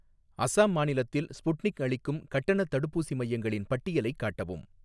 அசாம் மாநிலத்தில் ஸ்புட்னிக் அளிக்கும் கட்டணத் தடுப்பூசி மையங்களின் பட்டியலைக் காட்டவும்.